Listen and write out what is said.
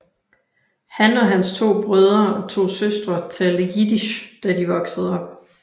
Han og hans to brødre og to søstre talte Jiddisch da de voksede op